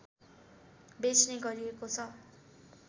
बेच्ने गरिएको छ